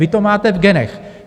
Vy to máte v genech.